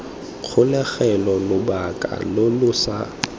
kgolegelong lobaka lo lo sa